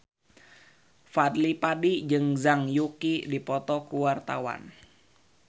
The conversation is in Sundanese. Fadly Padi jeung Zhang Yuqi keur dipoto ku wartawan